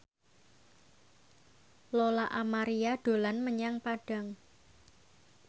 Lola Amaria dolan menyang Padang